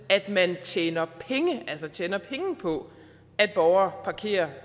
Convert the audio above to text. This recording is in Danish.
man tjener penge altså tjener penge på at borgere parkerer